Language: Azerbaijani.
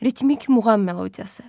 Ritmik muğam melodiyası.